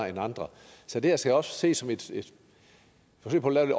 end andre så det her skal også ses som et forsøg på at